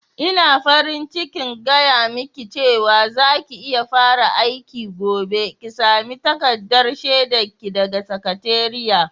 Ina farin cikin gaya miki cewa za ki iya fara aiki gobe, ki sami takardar shaidar ki daga sakatariya.